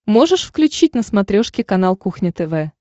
можешь включить на смотрешке канал кухня тв